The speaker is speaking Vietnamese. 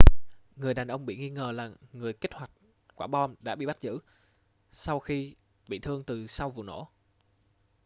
người đàn ông bị nghi ngờ là người kích hoạt quả bom đã bị bắt giữ sau khi bị thương từ sau vụ nổ